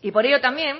y por ello también